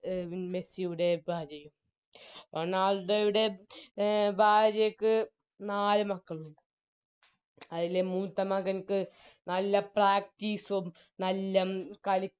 മെസ്സിയുടെ ഭാര്യയും റൊണാൾഡോയുടെ ഭാര്യക്ക് നാല് മക്കളുണ്ട് അതിലെ മൂത്തമകനിക്ക് നല്ല Practice ഉം നല്ല കളിക്ക